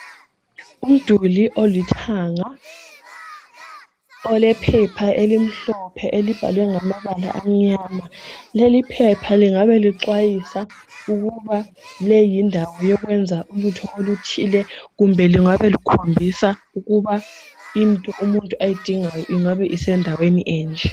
Umduli olithahanga olephepha elibhalwe ngamabala amnyama. Leli phepha lingabe lixwayisa ukuba le yindawo yokwenza ulutho oluthile kumbe lingabe likhombisa ukuba into umuntu ayidingayo ingabe isendaweni enje.